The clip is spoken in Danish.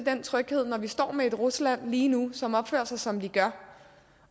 når vi står med et rusland lige nu som opfører sig som de gør